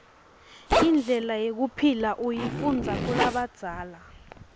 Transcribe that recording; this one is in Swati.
indlela yekuphila uyifundiza kulabadzala